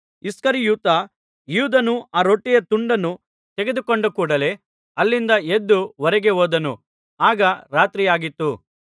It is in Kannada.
ಇಸ್ಕರಿಯೋತ ಯೂದನು ಆ ರೊಟ್ಟಿಯ ತುಂಡನ್ನು ತೆಗೆದುಕೊಂಡ ಕೂಡಲೇ ಅಲ್ಲಿಂದ ಎದ್ದು ಹೊರಗೆ ಹೋದನು ಆಗ ರಾತ್ರಿಯಾಗಿತ್ತು